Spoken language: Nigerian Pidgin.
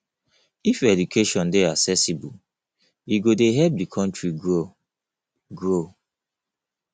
if education dey accessible e go dey help di country grow grow